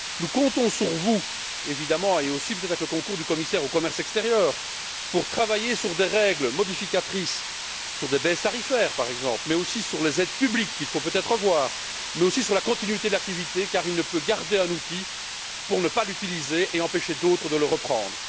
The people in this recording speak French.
Nous comptons sur vous, évidemment peut être avec le concours du commissaire au commerce extérieur pour travailler sur des règles modificatrices, sur des baisses tarifaires par exemple, sur les aides publiques, qu'il faut peut être revoir, mais aussi sur la continuité de l'activité car M. Mittal ne peut garder un outil pour ne pas l'utiliser et empêcher d'autres de le reprendre.